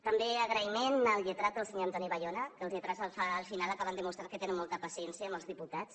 també agraïment al lletrat el senyor antoni bayona que els lletrats al final acaben demostrant que tenen molta paciència amb els diputats